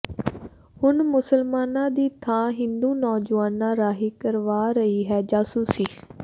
ਹੁਣ ਮੁਸਲਮਾਨਾਂ ਦੀ ਥਾਂ ਹਿੰਦੂ ਨੌਜੁਆਨਾਂ ਰਾਹੀਂ ਕਰਵਾ ਰਹੀ ਹੈ ਜਾਸੂਸੀ